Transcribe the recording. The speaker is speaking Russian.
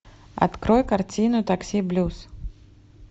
открой картину такси блюз